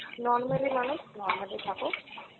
normally মানুষ normally থাকো।